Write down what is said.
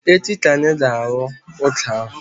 Echi ka anyị ga-arụ ọka ahụ